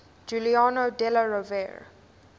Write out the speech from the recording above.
giuliano della rovere